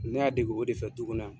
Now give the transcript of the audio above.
Ne y'a dege o de fɛ du kɔnɔ yan.